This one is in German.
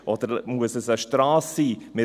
Oder muss es eine Strasse sein?